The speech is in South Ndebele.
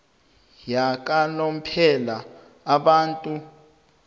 yakanomphela abantu ab